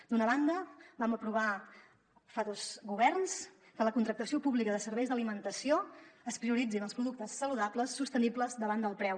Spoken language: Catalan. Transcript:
d’una banda vam aprovar fa dos governs que en la contractació pública de serveis d’alimentació es prioritzin els productes saludables sostenibles davant del preu